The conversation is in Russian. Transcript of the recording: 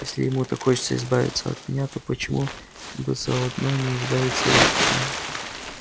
если ему так хочется избавиться от меня то почему бы заодно не избавиться и от тебя